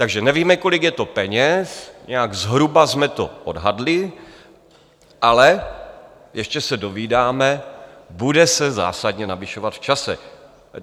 Takže nevíme, kolik je to peněz, nějak zhruba jsme to odhadli, ale ještě se dozvídáme, bude se zásadně navyšovat v čase.